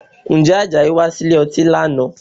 Ǹjẹ́ Àjàyí wá sílè ọtí lánàá?